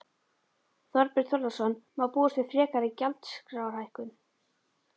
Þorbjörn Þórðarson: Má búast við frekari gjaldskrárhækkun?